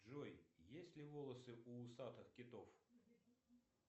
джой есть ли волосы у усатых китов